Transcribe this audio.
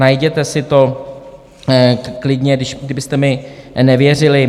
Najděte si to klidně, kdybyste mi nevěřili.